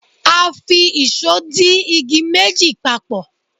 a fi ìsó di igi méjì papo